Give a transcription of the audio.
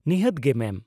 ᱱᱤᱦᱟᱹᱛ ᱜᱮ , ᱢᱮᱢ ᱾